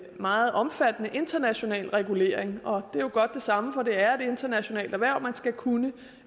meget omfattende international regulering og det er jo godt det samme for det er et internationalt erhverv man skal kunne